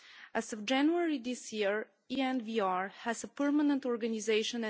As of January this year, ENVR has a permanent organisation.